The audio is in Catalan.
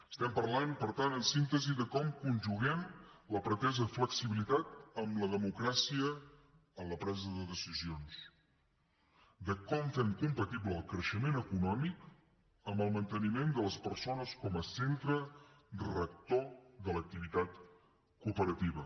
estem parlant per tant en síntesi de com conjuguem la pretesa flexibilitat amb la democràcia en la presa de decisions de com fem compatible el creixement econòmic amb el manteniment de les persones com a centre rector de l’activitat cooperativa